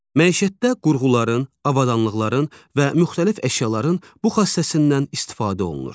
Məişətdə qurğuların, avadanlıqların və müxtəlif əşyaların bu xassəsindən istifadə olunur.